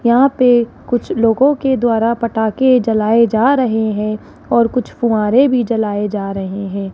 यहां पे कुछ लोगो के द्वारा पटाखे जलाये जा रहे हैं और कुछ फुव्वारे भी जलाये जा रहे हैं।